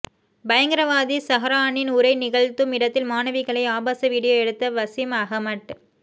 பயங்கரவாதி சஹ்ரானின் உரை நிகழ்த்தும் இடத்தில் மாணவிகளை ஆபாச வீடியோ எடுத்த வசீம் அஹமட்